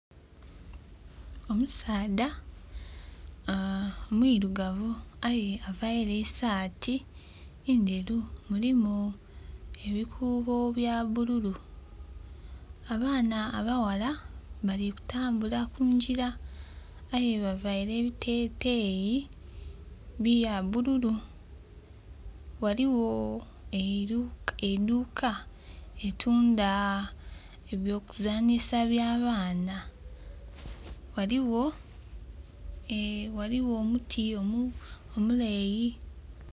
Omusaadha aa mwirugavu aye aveire esati ndheru mulimu ebikuubo bya bululu. Abaana abaghala bali kutambula kungira aye ba veire ebiteteyi bya bululu, ghaligho eidhuka litunda eby'okuzanisa bya baana, ghaligho omuti omuleyi.